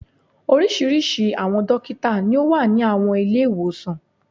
Oríṣiríṣi àwọn dókítà ni ó wà ní àwọn Ilé-ìwòsàn